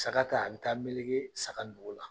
Saga ta a bɛ taa melege saga nugu la.